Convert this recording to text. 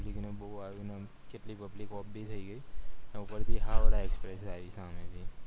ને બૌ હારું ને એમ કેટલી public off ભી થય ગય એના ઉપર થી હાવરા express આયી હામેથી